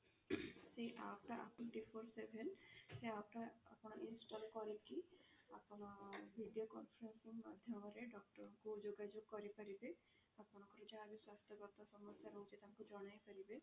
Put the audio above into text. ସେ app ଟା apollo twenty four seven ସେ app ଟା ଆପଣ install କରିକି ଆପଣ video conference ମାଧ୍ୟମ ରେ doctor କୁ ଯୋଗା ଯୋଗ କରି ପାରିବେ ଆପଣଙ୍କର ସେଇଟା ସ୍ୱାସ୍ଥ୍ୟ ଗତ ସମସ୍ୟା ରହୁଛି ତାଙ୍କୁ ଜଣାଇ ପାରିବେ